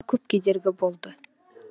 көп кедергі болды